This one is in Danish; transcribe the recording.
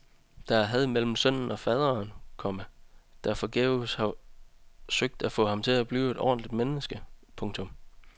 Der er had mellem sønnen og faderen, komma der forgæves har søgt at få ham til at blive et ordentligt menneske. punktum